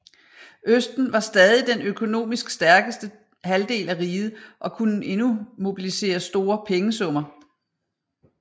Østen var stadig den økonomisk stærkeste halvdel af riget og kunne endnu mobilisere store pengesummer